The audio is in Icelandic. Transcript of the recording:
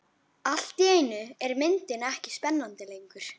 Allt í einu er myndin ekki spennandi lengur.